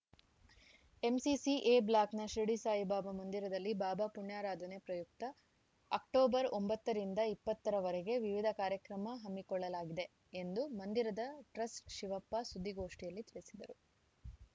MCC A ಬ್ಲಾಕ್‌ನ ಶಿರಡಿ ಸಾಯಿಬಾಬಾ ಮಂದಿರದಲ್ಲಿ ಬಾಬಾ ಪುಣ್ಯಾರಾಧನೆ ಪ್ರಯುಕ್ತ ಅಕ್ಟೋಬರ್ ಒಂಬತ್ತ ರಿಂದ ಇಪ್ಪತ್ತ ರ ವರೆಗೆ ವಿವಿಧ ಕಾರ್ಯಕ್ರಮ ಹಮ್ಮಿಕೊಳ್ಳಲಾಗಿದೆ ಎಂದು ಮಂದಿರದ ಟ್ರಸ್ಟಿಶಿವಪ್ಪ ಸುದ್ದಿಗೋಷ್ಠಿಯಲ್ಲಿ ತಿಳಿಸಿದರು